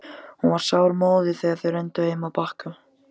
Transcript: Hún var sármóðguð þegar þau renndu heim að Bakka.